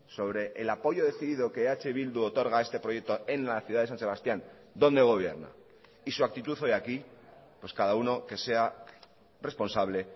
sobre el apoyo decidido que eh bildu otorga a este proyecto en la ciudad de san sebastián donde gobierna y su actitud hoy aquí pues cada uno que sea responsable